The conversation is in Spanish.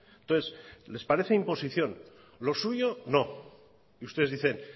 entonces les parece imposición lo suyo no ustedes dicen